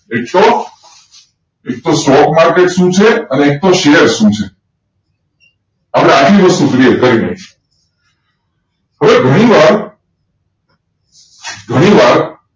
એ તો stock market શું છે અને એક તો શેર શું છે હવે આટલી વસ્તુ clear કરી લઈએ હવે ઘણીવાર